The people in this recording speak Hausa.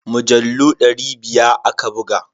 Mujallu dari biya aka buga.